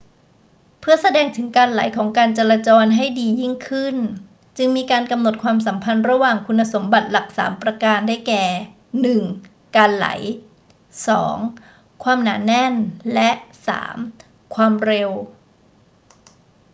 เพื่อแสดงถึงการไหลของการจราจรให้ดียิ่งขึ้น จึงมีการกำหนดความสัมพันธ์ระหว่างคุณสมบัติหลักสามประการ ได้แก่ 1 การไหล 2 ความหนาแน่น และ 3 ความเร็ว